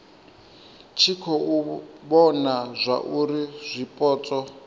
tshi khou vhona zwauri zwipotso